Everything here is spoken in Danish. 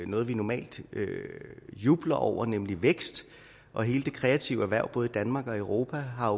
noget vi normalt jubler over nemlig vækst og hele det kreative erhverv både i danmark og i europa har